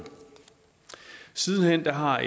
siden hen har